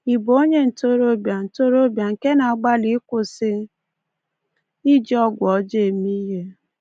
Ị bụ onye ntorobịa ntorobịa nke na-agbalị ịkwụsị iji ọgwụ ọjọọ eme ihe?